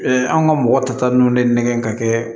an ka mɔgɔ ta ta ninnu ne nɛgɛ ka kɛ